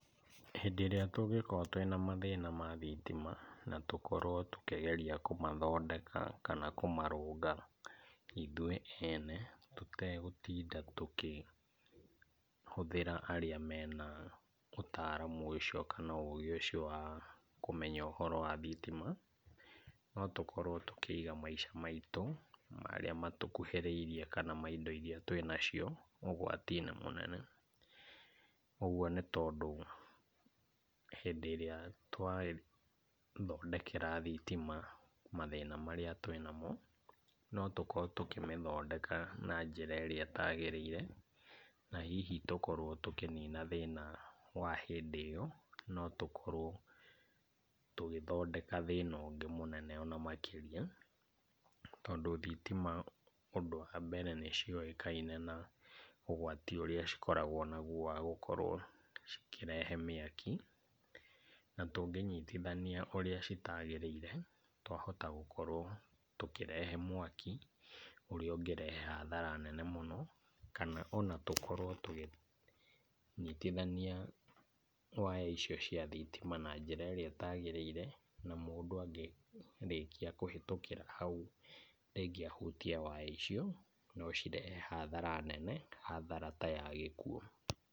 Hĩndĩ ĩrĩa tũngĩkorwo twĩna mathĩna ma thitima na tũkorwo tũkĩgeria kũmathondeka kana kũmarũnga ithuĩ ene tũtegũtinda tũkĩhũthĩra arĩa mena ũtaaramu ũcio kana ũgĩ ũcio wa kũmenya ũhoro wa thitima, no tũkorwo tũkĩiga maica maitũ marĩa matũkũhĩrĩirie kana ma indo irĩa twĩnacio ũgwati-inĩ mũnene. Ũgũo nĩ tondũ hĩndĩ ĩrĩa twathondekera thitima mathĩna marĩa twĩnamo, no tũkorwo tũkĩmĩthondeka na njĩra ĩrĩa ĩtaagĩrĩire. Na hihi tũkorwo tũkĩnina thĩna wa hĩndĩ ĩyo no tũkorwo tũgĩthondeka thĩna ũngĩ mũnene ona makĩria. Tondũ thitima ũndũ wa mbere nĩ ciũĩkaine na ũgwati ũrĩa cikoragwo naguo wa gũkorwo cikĩrehe mĩaki na tũngĩnyitithania ũrĩa citaagĩrĩire twahota gũkorwo tũkĩrehe mwaki ũrĩa ũngĩrehe hathara nene mũno, kana ona tũkorwo tũkĩnyitithania waya icio cia thitima na njĩra ĩrĩa ĩtaagĩrĩire. Na mũndũ angĩrĩkia kũhĩtũkĩra hau rĩngĩ ahutie waya icio, no cirehe hathara nene hathara ta ya gĩkuũ.